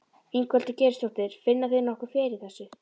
Ingveldur Geirsdóttir: Finna þeir nokkuð fyrir þessu?